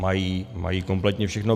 Mají kompletně všechno.